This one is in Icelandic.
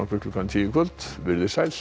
klukkan tíu í kvöld verið þið sæl